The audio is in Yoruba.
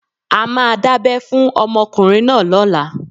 A máa dábẹ́ fún ọmọkùnrin náà lọ́la.